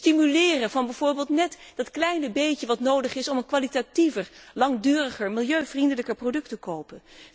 het stimuleren van bijvoorbeeld net dat kleine beetje wat nodig is om een kwalitatiever, langduriger, milieuvriendelijker product te kopen